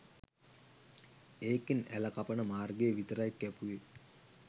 ඒකෙන් ඇළ කපන මාර්ගය විතරයි කැපුවේ